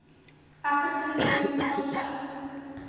african american culture